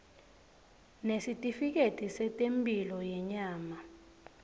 nesitifiketi setemphilo yenyama